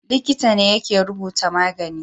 Likita ne yake rubuta magani